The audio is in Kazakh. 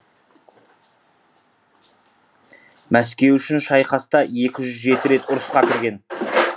мәскеу үшін шайқаста екі жүз жеті рет ұрысқа кірген